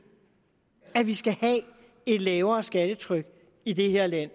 at vi skal have et lavere skattetryk i det her land